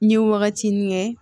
N ye wagati min kɛ